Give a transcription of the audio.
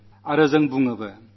നാം സംസാരിക്കയും ചെയ്യും